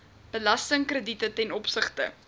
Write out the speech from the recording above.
belastingkrediete ten opsigte